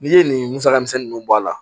N'i ye nin musaka misɛnnu bɔ a la